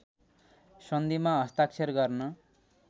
सन्धिमा हस्ताक्षर गर्न